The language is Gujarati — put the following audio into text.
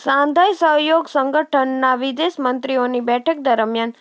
શાંઘાઈ સહયોગ સંગઠનના વિદેશ મંત્રીઓની બેઠક દરમિયાન